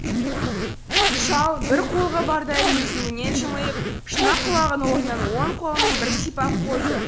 шал бір қулығы бардай езуінен жымиып шұнақ құлағының орнын оң қолымен бір сипап қойды